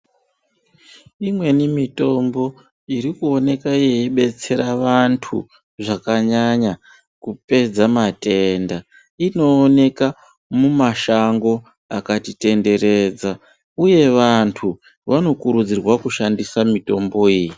Imweni mitombo iri kuoneka yeidetsera vantu zvakanyanya kupedza matenda inooneka mumashango akatitenderedza uye vantu vanokurudzirwa kushandisa mitomboiyi.